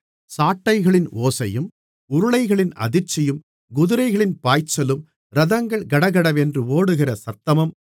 சாட்டைகளின் ஓசையும் உருளைகளின் அதிர்ச்சியும் குதிரைகளின் பாய்ச்சலும் இரதங்கள் கடகடவென்று ஓடுகிற சத்தமும்